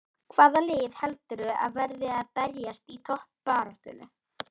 Svonefnd tóm hlutafélög hafa lengi verið til umræðu.